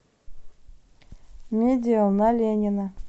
медиал на ленина